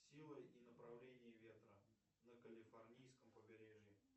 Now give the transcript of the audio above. сила и направление ветра на калифорнийском побережье